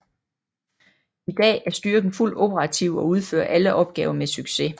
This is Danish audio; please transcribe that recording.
I dag er styrken fuldt operativ og udfører alle opgaver med succes